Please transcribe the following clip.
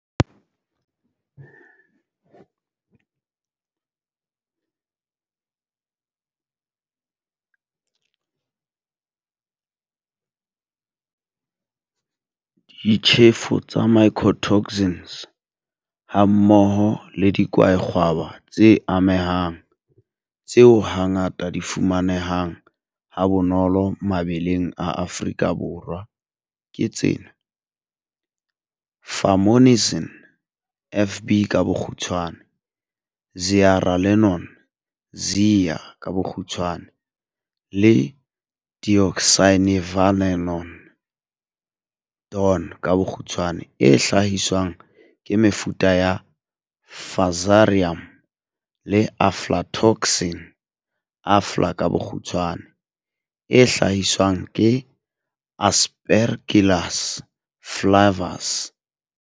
Ditjhefo tsa mycotoxins, hammoho le dikwaekgwaba tse amehang, tseo hangata di fumanehang ha bonolo mabeleng a Afrika Borwa ke tsena. Fumonisin FB ka bokgutshwane, zearalenone ZEA ka bokgutshwane le deoxynivalenol DON ka bokgutshwane e hlahiswang ke mefuta ya Fusarium, le aflatoxin AFLA ka bokgutshwane, e hlahiswang ke Aspergillus flavus.